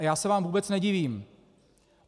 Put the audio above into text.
A já se vám vůbec nedivím.